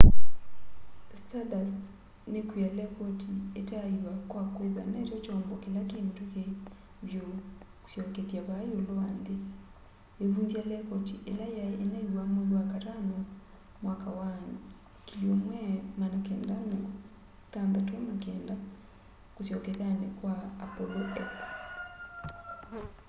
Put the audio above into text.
stardust nikwia lekoti itaaiwa kwa kwithwa nokyo kyombo kila ki mituki vyu kusyokethya vaa iulu wa nthi iivunzya lekoti ila yai inaiwa mwei wakatano 1969 kusyokethyani kwa apollo x